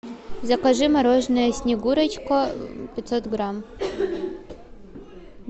закажи мороженое снегурочка пятьсот грамм